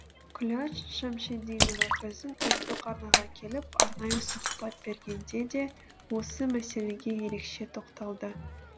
күләш шәмшидинова біздің ұлттық арнаға келіп арнайы сұқбат бергенде де осы мәселеге ерекше тоқталды